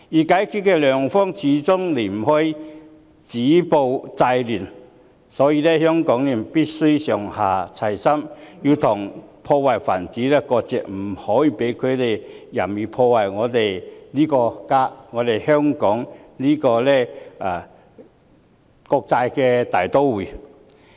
解決的良方，始終離不開止暴制亂，所以香港人必須上下齊心，跟破壞分子割席，不可以讓他們任意破壞我們這個家、香港這個國際大都會。